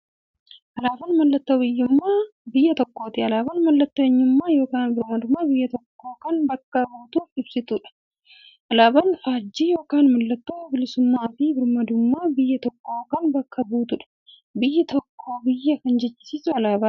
Alaaban mallattoo biyyuummaa biyya tokkooti. Alaabaan mallattoo eenyummaa yookiin birmaadummaa biyya tokkoo kan bakka buutuuf ibsituudha. Alaaban faajjii yookiin maallattoo bilisuummaafi birmaadummaa biyya tokkoo kan bakka buutuudha. Biyya tokko biyya kan jechisisuu alaabadha.